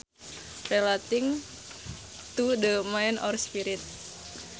Relating to the mind or spirit